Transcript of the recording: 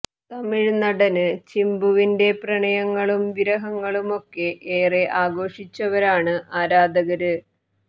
തമിഴ് നടന് ചിമ്പുവിന്റെ പ്രണയങ്ങളും വിരഹങ്ങളുമൊക്കെ ഏറെ ആഘോഷിച്ചവരാണ് ആരാധകര്